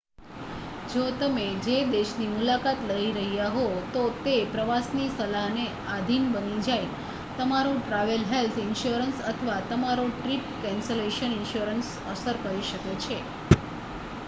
જો તમે જે દેશની મુલાકાત લઈ રહ્યા હો તો તે પ્રવાસ ની સલાહને આધિન બની જાય, તમારો ટ્રાવેલ હેલ્થ ઇન્શ્યોરન્સ અથવા તમારો ટ્રિપ કેન્સલેશન ઇન્શ્યોરન્સ અસર કરી શકે છે